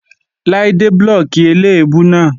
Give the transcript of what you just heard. Láídé blóòkì eléèbú náà.